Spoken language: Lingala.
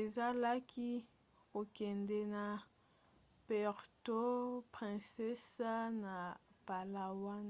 ezalaki kokende na puerto princesa na palawan